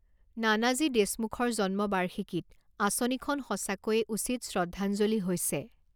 নানাজী দেশমুখৰ জন্ম বাৰ্ষিকীত আঁচনিখন সঁচাকৈয়ে উচিত শ্ৰদ্ধঞ্জলি হৈছে